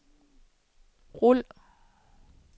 rul